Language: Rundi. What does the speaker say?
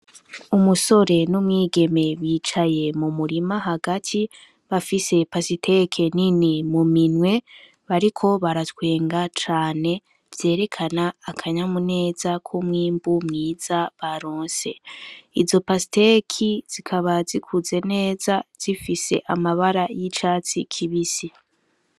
Umusore n'umwigeme bicaye m'umurima hagati bafise pasiteke nini m'uminwe bariko baratwenga cane vyerekana akanyamuneza k'umwimbu mwiza baronse, Izo pasiteki zikaba zikuze neza zifise amabara y'icatsi kibisi.